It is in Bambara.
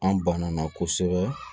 An banana kosɛbɛ